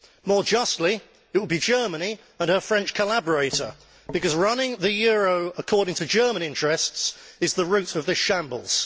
More justly, it would be Germany and her French collaborator, because running the euro according to German interests is the root of this shambles.